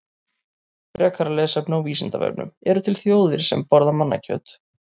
Frekara lesefni á Vísindavefnum: Eru til þjóðir sem borða mannakjöt?